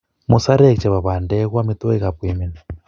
Musarek chebo pandek ko amitwogikap koimen